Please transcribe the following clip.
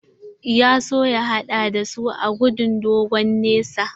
Ya so ya haɗa da su a gudun dogon nesa.